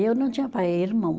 Eu não tinha pai, irmão.